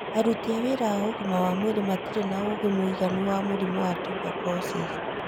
Aruti a wĩra a ũgima wa mwĩrĩ matirĩ na ũũgĩ mũiganu wa mũrimũ wa tuberculosis